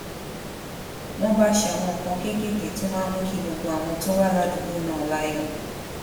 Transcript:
wón bá ṣe àwọn nǹkan kéékèèké tó máa ń mú kí gbogbo àwọn tó wà ládùúgbò náà láyò